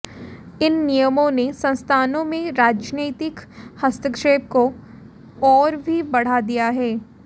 इन नियमों ने संस्थानों में राजनैतिक हस्तक्षेप को और भी बढ़ा दिया है